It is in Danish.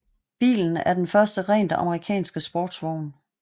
Bilen er den første rent amerikanske sportsvogn